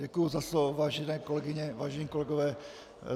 Děkuji za slovo, vážené kolegyně, vážení kolegové.